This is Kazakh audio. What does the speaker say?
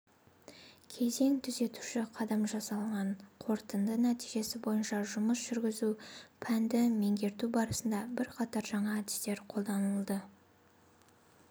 кезең түзетуші қадам жасалған қорытынды нәтижесі бойынша жұмыс жүргізу пәнді меңгерту барысында бірқатар жаңа әдістер қолданылды